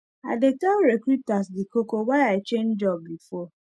i dey tell recruiter the koko why i change job before